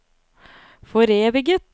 foreviget